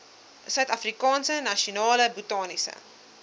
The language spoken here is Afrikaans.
suidafrikaanse nasionale botaniese